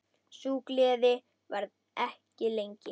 Sú gleði varði ekki lengi.